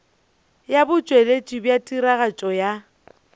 ya botšweletši bja tiragatšo ya